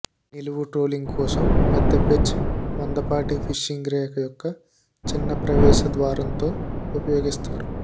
నిలువు ట్రోల్లింగ్ కోసం పెద్ద పెర్చ్ మందపాటి ఫిషింగ్ రేఖ యొక్క చిన్న ప్రవేశ ద్వారంతో ఉపయోగిస్తారు